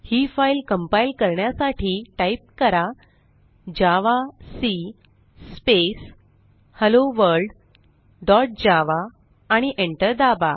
ही file compile करण्यासाठी type करा javac space hello world dot java आणि एंटर दाबा